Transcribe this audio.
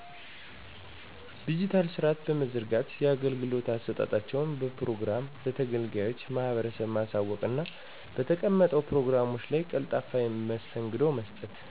ድጅታል ስርአት በመዘርጋት የአገልግሎት አሰጣጣቸውን በፕሮግራም ለተገልጋዩ ማህበረሰብ ማሳወቅና በተቀመጠው ፕሮግራም ቀልጣፋ መስተንግዶ በመስጠት።